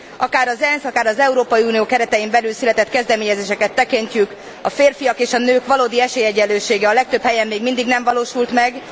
Akár az ENSZ, akár az Európai Unió keretein belül született kezdeményezéseket tekintjük, a férfiak és a nők valódi esélyegyenlősége a legtöbb helyen még mindig nem valósult meg.